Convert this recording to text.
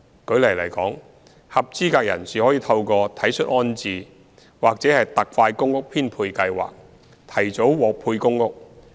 舉例來說，合資格人士可透過"體恤安置"或"特快公屋編配計劃"提早獲配公屋。